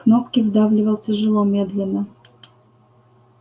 кнопки вдавливал тяжело медленно